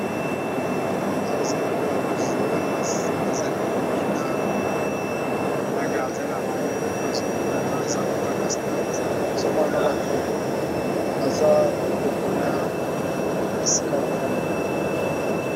Awa eza lokola ba joueur bazali kobina na gardien na bango nazomona awa eza lokola na stade nazomona na bato baza kote kuna esika ba fandaka.